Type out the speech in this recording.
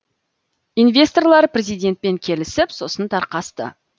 инвесторлар президентпен келісіп сосын тарқасты